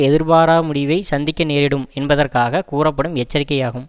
எதிர்பாரா முடிவைச் சந்திக்க நேரிடும் என்பதற்காகக் கூறப்படும் எச்சரிக்கை ஆகும்